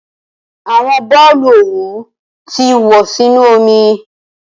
Awọn boolu owu ti wọ inu omi.